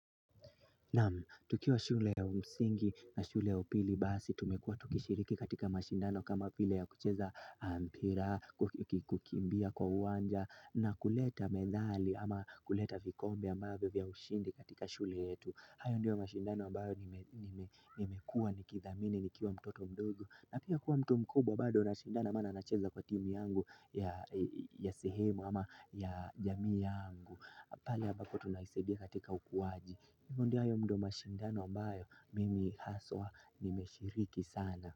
Nam, tukiwa shule ya msingi na shule ya upili basi, tumekuwa tukishiriki katika mashindano kama vile ya kucheza mpira, kukimbia kwa uwanja na kuleta medali ama kuleta vikombe ambavyo vya ushindi katika shule yetu. Hayo ndiyo mashindano ambayo nimekuwa nikithamini nikiwa mtoto mdogo. Na pia kuwa mtu mkubwa bado nashindana maana nacheza kwa timi yangu ya sehemu ama ya jamii yangu. Pahali ambako tunaisaidia katika ukuwaji. Yungu ndiyo hayo ndo mashindano ambayo mimi haswa nimeshiriki sana.